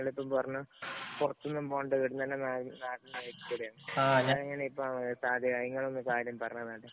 നിങ്ങളിപ്പം പറഞ്ഞു പൊറത്തൊന്നും പോകണ്ട. ഇവിടെ തന്നെ. നിങ്ങളൊന്നു സാഹചര്യം പറഞ്ഞു തന്നാട്ടെ.